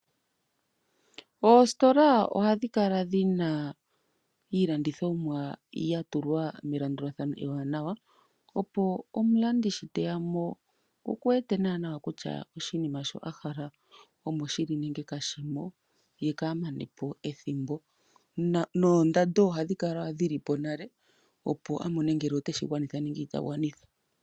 Oositola ohadhi kala dhina iilandithomwa yatulwa melandulathano eewanawa, opo omulandi sho teya mo okuwete nawanawa kutya oshinima shi ahala omoshili nenge kashimo ye kaa manepo ethimbo. Noondando ohadhi kala dhili po nale opo a mone ngele oteshi gwanitha nenge itagwanitha.